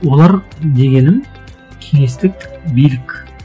олар дегенім кеңестік билік